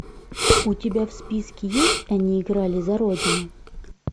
у тебя в списке есть они играли за родину